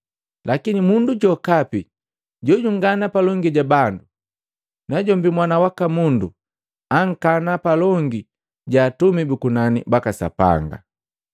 Lakini mundu jokapi jojungana palongi ja bandu, najombi Mwana waka Mundu ankana palongi ja atumi bu kunani baka Sapanga.”